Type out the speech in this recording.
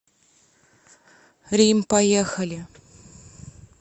рим поехали